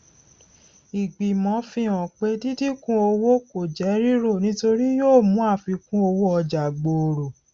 ìgbìmọ fi hàn pé díndínkún owó kò jẹ rírò nítorí yóò mú àfikúnowóọjà gbòòrò